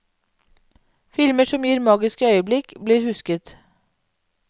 Filmer som gir magiske øyeblikk, blir husket.